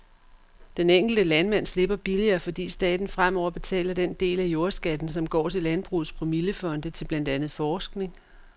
Den enkelte landmand slipper billigere, fordi staten fremover betaler den del af jordskatten, som går til landbrugets promillefonde til blandt andet forskning.